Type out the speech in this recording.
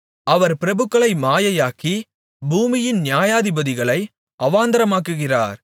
அவர் பிரபுக்களை மாயையாக்கி பூமியின் நியாயாதிபதிகளை அவாந்தரமாக்குகிறார்